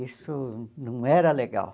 Isso não era legal.